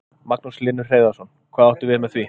Magnús Hlynur Hreiðarsson: Hvað áttu við með því?